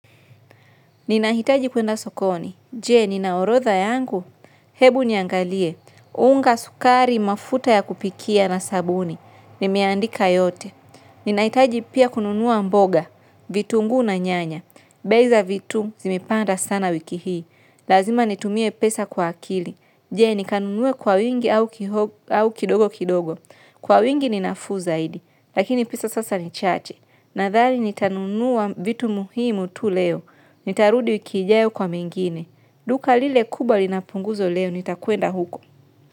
Ninahitaji kuenda sokoni. Jee, ninaorotha yangu. Hebu niangalie. Unga sukari mafuta ya kupikia na sabuni. Nimiandika yote. Ninahitaji pia kununuwa mboga. Vitungu na nyanya. Bei za vitu zimepanda sana wiki hii. Lazima nitumie pesa kwa akili. Jee, nikanunuwe kwa wingi au kidogo kidogo. Kwa wingi ninafu zaidi. Lakini pesa sasa ni chache. Nathali nitanunuwa vitu muhimu tu leo. Nitarudi wiki ijayo kwa mengine. Duka lile kubwa linapunguzo leo nitakwenda uko.